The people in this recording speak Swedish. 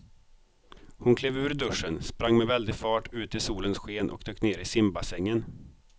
Hon klev ur duschen, sprang med väldig fart ut i solens sken och dök ner i simbassängen.